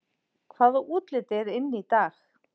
Hvaða útlit er inn í dag